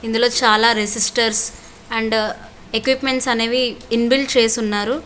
ఇందులో చాలా resistors and equipments అనేవి ఇన్ బిల్ట్ చేసిఉన్నారు.